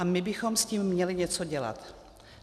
A my bychom s tím měli něco dělat.